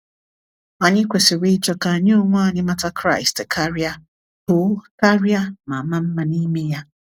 Anyị kwesịrị ịchọ ka anyị onwe anyị mata Kraịst karịa, too karịa, ma maa mma n’ime ya.